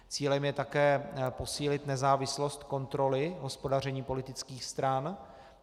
Cílem je také posílit nezávislost kontroly hospodaření politických stran.